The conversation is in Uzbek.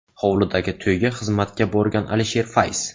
Hovlidagi to‘yga xizmatga borgan Alisher Fayz.